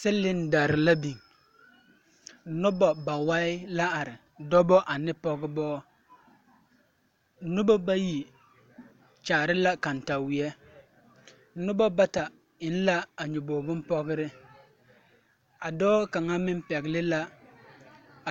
Cylinders la biŋ noba ba wai la are dɔba ne pɔgeba noba bayi kyaare la kantaweɛ noba bata eŋ la a nyɔbogri binpɔgre a dɔɔ kaŋa meŋ pɛgle la